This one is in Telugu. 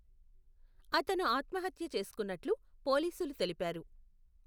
అతను ఆత్మహత్య చేసుకున్నట్లు పోలీసులు తెలిపారు.